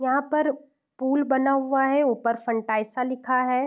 यहाँ पर पुल बना हुआ है। ऊपर फंटाइसा लिखा है।